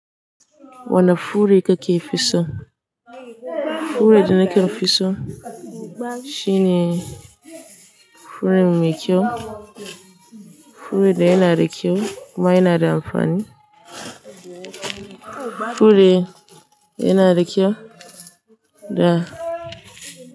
Wane fure ka fi so? Fure da nake so shine fure mai kyau, furen da yana da kyau kuma yana da amfani, fure yana da kyau da.